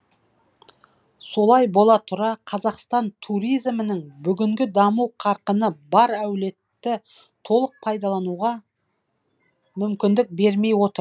солай бола тұра қазақстан туризмінің бүгінгі даму қарқыны бар әулетті толық пайдалануға мүмкіндік бермей отыр